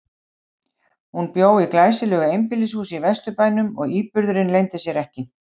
Hún bjó í glæsilegu einbýlishúsi í Vesturbænum og íburðurinn leyndi sér ekki.